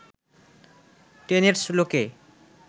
টেনেডস লোকে